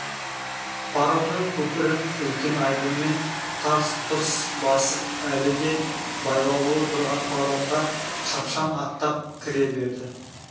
паромның көпірін үлкен айбынмен тарс-тұрс басып әлі де байлаулы тұрған паромға шапшаң аттап кіре берді